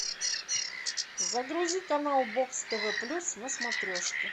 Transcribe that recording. загрузи канал бокс тв плюс на смотрешке